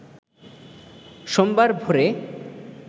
সোমবার ভোরে